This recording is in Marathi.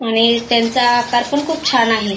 आणि त्यांचा आकार पण खूप छान आहे.